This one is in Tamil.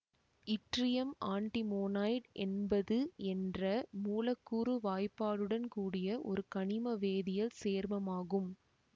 இட்ரியம் ஆண்ட்டிமோனைடு என்பது என்ற மூலக்கூறு வாய்பாடுடன் கூடிய ஒரு கனிமவேதியல் சேர்மமாகும்